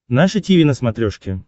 наше тиви на смотрешке